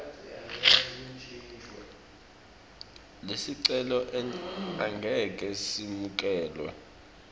lesicelo angeke semukelwe